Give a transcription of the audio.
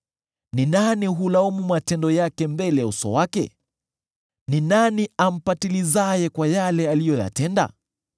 Ni nani hulaumu matendo yake mbele ya uso wake? Ni nani ampatilizaye kwa yale aliyoyatenda?